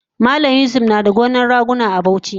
Malam yusuf nada gonan raguna a Bauchi